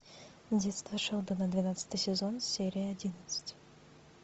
детство шелдона двенадцатый сезон серия одиннадцать